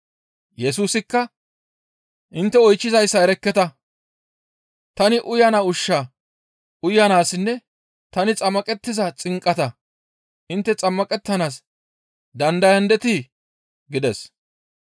Yesusikka, «Intte oychchizayssa erekketa; tani uyana ushshaa uyanaassinne tani xammaqettiza xinqataa intte xammaqettanaas dandayandetii?» gides.